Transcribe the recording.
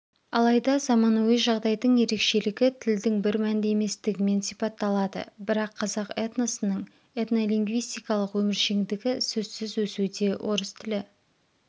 алайда заманауи жағдайдың ерекшелігі тілдің бір мәнді еместігімен сипатталады бірақ қазақ этносының этнолингвистикалық өміршеңдігі сөзсіз өсуде орыс тілі